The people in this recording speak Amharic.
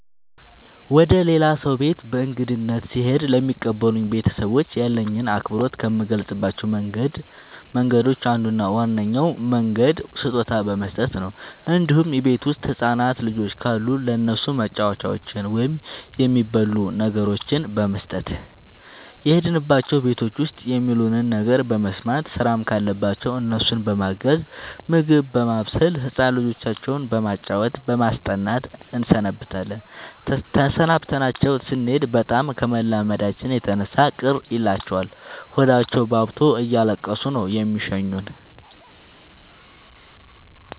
ወደ ሌላ ሰው ቤት በእንግድነት ስሄድ ለሚቀበሉኝ ቤተሰቦች ያለኝን አክብሮት ከምገልፅባቸው መንገዶች አንዱ እና ዋነኛው መንገድ ስጦታ በመስጠት ነው እንዲሁም እቤት ውስጥ ህፃናት ልጆች ካሉ ለእነሱ መጫወቻዎችን ወይም የሚበሉ ነገሮችን በመስጠት። የሄድንባቸው ቤቶች ውስጥ የሚሉንን ነገር በመስማት ስራም ካለባቸው እነሱን በማገዝ ምግብ በማብሰል ህፃን ልጆቻቸው በማጫወት በማስጠናት እንሰነብታለን ተሰናብተናቸው ስኔድ በጣም ከመላመዳችን የተነሳ ቅር ይላቸዋል ሆዳቸውባብቶ እያለቀሱ ነው የሚሸኙን።